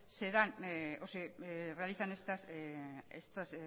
se dan o se realizan estas